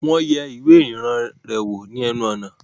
Wọ́n yẹ ìwẹ́ ìrìnnà rẹ̀ wò ni ẹnu ọ̀nà